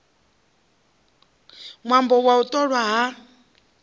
ṅwambo wa u ṱolwa ha